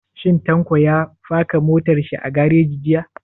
Shin Tanko ya faka motar shi a gareji jiya?